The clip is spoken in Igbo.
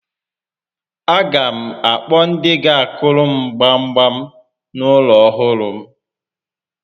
A ga m akpọ ndị ga akụrụ m gbam gbam n'ulo ọhụrụ m